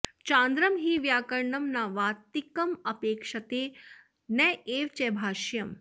चान्द्रं हि व्याकरणं न वातिकमपेक्षते नैव च भाष्यम्